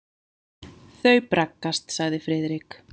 Þau braggast sagði Friðrik.